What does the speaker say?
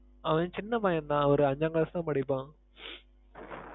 அவன் சின்ன பய்யன் தான் ஒரு அஞ்சாங்கிளாஸ் தான் படிப்பான்.